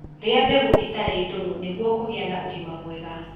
Rĩa mbegũ itarĩ ndũrũ nĩguo kũgĩa na ũgima mwega